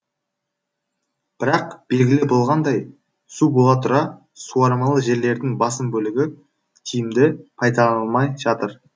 бірақ белгілі болғандай су бола тұра суармалы жерлердің басым бөлігі тиімді пайдаланылмай жатыр